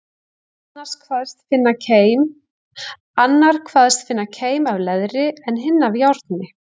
Annar kvaðst finna keim af leðri, en hinn af járni.